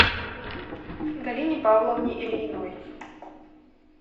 галине павловне ильиной